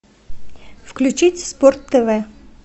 включить спорт тв